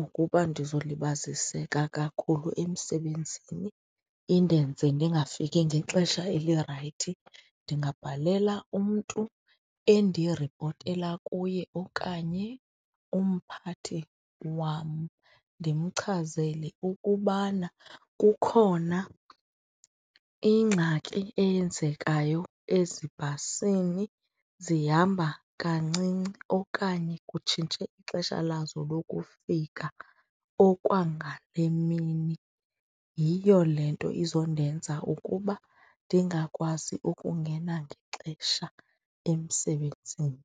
ukuba ndizolibaziseka kakhulu emsebenzini, indenze ndingafiki ngexesha elirayithi ndingabhalela umntu endiripotela kuye okanye umphathi wam ndimchazele ukubana kukhona ingxaki eyenzekayo ezibhasini, zihamba kancinci okanye kutshintshe ixesha lazo lokufika okwangale mini, yiyo le nto izondenza ukuba ndingakwazi ukungena ngexesha emsebenzini.